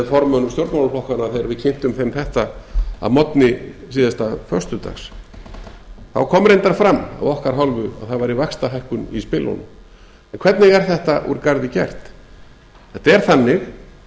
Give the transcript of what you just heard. formönnum stjórnmálaflokkanna þegar við kynntum þeim þetta að morgni síðasta föstudags þá kom reyndar fram af okkar hálfu að það væri vaxtahækkun í spilunum en hvernig er þetta úr garði gert þetta er þannig